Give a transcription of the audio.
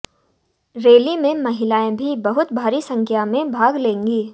rally में महिलाएं भी बहुत भारी संख्या में भाग लेंगी